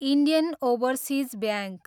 Indian overseas bank